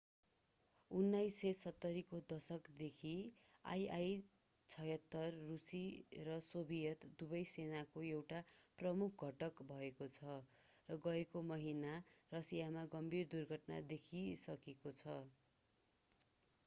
1970 को दशकदेखि il-76 रूसी र सोभियत दुवै सेनाको एउटा प्रमुख घटक भएको छ र गएको महिना रसियामा गम्भीर दुर्घटना देखिसकेको छ